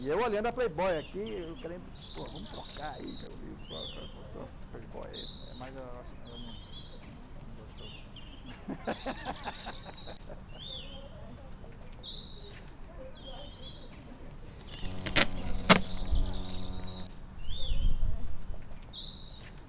E eu olhando a Playboy aqui, querendo, pô, vamos trocar aí meu livro com a sua Playboy, mas ela não gostou muito. Ela já sabia todas as dicas de o que fazer quando chegar lá